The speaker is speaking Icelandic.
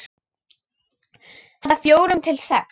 Handa fjórum til sex